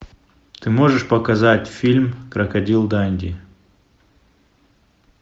ты можешь показать фильм крокодил данди